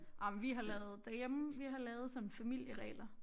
Ej men vi har lavet derhjemme vi har lavet som familieregler